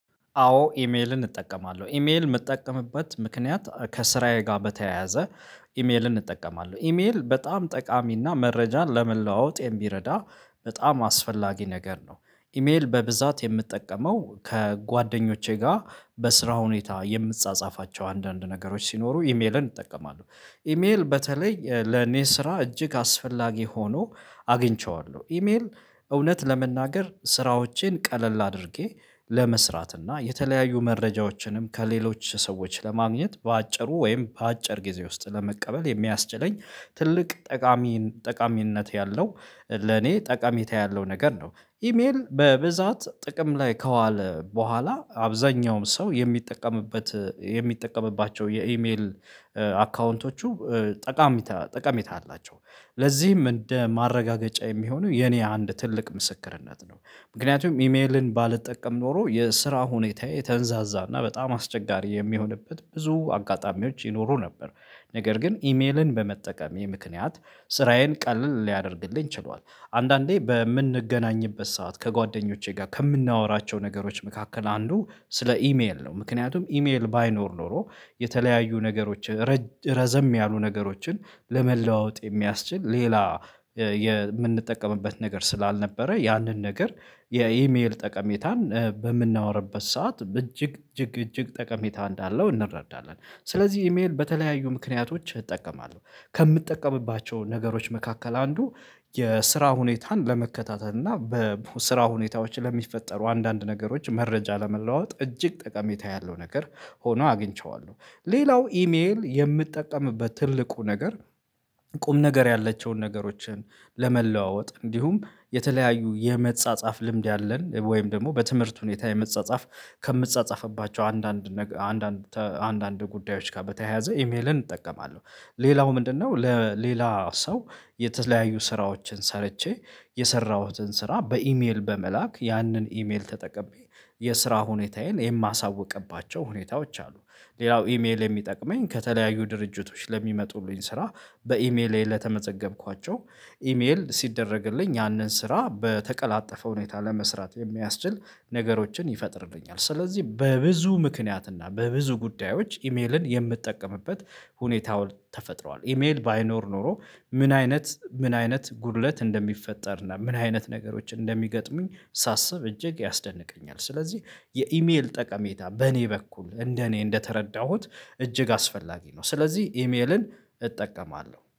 አዎ ኢሜልን እጠቀማለሁ ኢሜል የምጠቀምበት ምክንያት ከስራዬ ጋር በተያያዘ ኢሜልን እጠቀማለሁ ኢሜል በጣም ጠቃሚና መረጃን ለመለዋወጥ የሚረዳ በጣም አስፈላጊ ነገር ነው። ኢሜል በብዛት የምጥቀመው ከጓደኞቼ ጋር በስራ ሁኔታ የምጻጻፋቸው አንዳንድ ነገሮች ሲኖሩ ኢሜልን እጠቀማለሁ ኢሜል በተለይ ለኔ ስራ እጅግ አስፈላጊ ሆኖ አግኝቼዋለሁ ኢሜል እውነት ለመናገር ስራዎቼን ቀለል አድርጌ ለመስራት እና የተለያዩ መረጃዎችንም ከሌሎች ሰዎች ለማግኘት በአጭሩ ወይም በአጭር ጊዜ ውስጥ ለመቀበል የሚያስችለኝ ትልቅ ጠቃሚ ጠቃሚነት ያለው ለኔ ጠቀሜታ ያለው ነገር ነው። ኢሜል በብዛት ጥቅም ላይ ከዋለ በኋላ አብዛኛውም ሰው የሚጠቀምበት የሚጠቀምባቸው የኢሜል አካውንቶቹ ጠቃሚታ ጠቀሜታ አላቸው። ለዚህም እንደ ማረጋገጫ የሚሆነው የኔ አንድ ትልቅ ምስክርነት ነው። ምክንያቱም ኢሜልን ባልጠቀም ኖሮ የስራ ሁኔታዬ የተንዛዛና በጣም አስቸጋሪ የሚሆንበት ብዙ አጋጣሚዎች ይኖሩ ነበር። ነገር ግን ኢሜልን በመጠቀሜ ምክንያት ስራዬን ቀልል ሊያደርግልኝ ችሏል አንዳንዴ በምንገናኝበት ሰዓት ከጓደኞቼ ጋር ከምናወራቸው ነገሮች መካከል አንዱ ስለ ኢሜል ነው ምክንያቱም ኢሜል ባይኖር ኖሮ የተለያዩ ነገሮች ረዘም ያሉ ነገሮችን ለመለዋወጥ የሚያስችል ሌላ የምንጠቀምበት ነገር ስላልነበረ ያንን ነገር የኢሜል ጠቀሜታን በምናወራበት ሰዓት በእጅግ እጅግ እጅግ ጠቀሜታ እንዳለው እንረዳለን። ስለዚህ ኢሜል በተለያዩ ምክንያቶች እጠቀማለሁ ከምጠቀምባቸው ነገሮች መካከል አንዱ የስራ ሁኔታን ለመከታተል እና በስራ ሁኔታዎች ለሚፈጠሩ አንዳንድ ነገሮች መረጃ ለመለዋወጥ እጅግ ጠቀሜታ ያለው ነገር ሆኖ አግኝቼዋለሁ። ሌላው ኢሜል የምጠቀምበት ትልቁ ነገር ቁም ነገር ያለችውን ነገሮችን ለመለዋወጥ እንዲሁም የተለያዩ የመጻጻፍ ልምድ ያለን ወይም ደግሞ በትምህርት ሁኔታ የመጻጻፍ ከምጻጻፍባቸው አንዳንድ አንዳንድ አንዳንድ ጉዳዮች ጋር በተያያዘ ኢሜልን እጠቀማለሁ። ሌላው ምንድነው? ለሌላ ሰው የተለያዩ ስራዎችን ሰርቼ የሰራሁትን ስራ በኢሜል በመላክ ያንን ኢሜል ተጠቅቤ የስራ ሁኔታዬን የማሳውቅባቸው ሁኔታዎች አሉ። ሌላው ኢሜል የሚጠቅመኝ ከተለያዩ ድርጅቶች ለሚመጡልኝ ስራ በኢሜሌ ለተመዘገብኳቸው ኢሜል ሲደረግልኝ ያንን ስራ በተቀላጠፈ ሁኔታ ለመስራት የሚያስችል ነገሮችን ይፈጥርልኛል። ስለዚህ በብዙ ምክንያት እና በብዙ ጉዳዮች ኢሜልን የምጠቀምበት ሁኔታው ተፈጥረዋል ኢሜል ባይኖር ኖሮ ምን አይነት ምን አይነት ጉድለት እንደሚፈጠር እና ምን አይነት ነገሮችን እንደሚገጥሙኝ ሳስብ እጅግ ያስደንቀኛል። ስለዚህ የኢሜል ጠቀሜታ በእኔ በኩል እንደ እኔ እንደተረዳሁት እጅግ አስፈላጊ ነው። ስለዚህ ኢሜልን እጠቀማለሁ